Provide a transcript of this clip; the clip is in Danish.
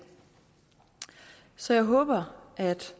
så jeg håber